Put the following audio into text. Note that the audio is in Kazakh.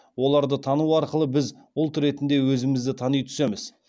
оларды тану арқылы біз ұлт ретінде өзімізді тани түсеміз